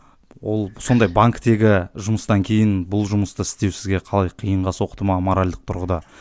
ол сондай банктегі жұмыстан кейін бұл жұмысты істеу сізге қалай қиынға соқты ма моральдік тұрғыда